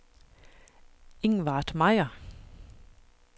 Ingvard Mejer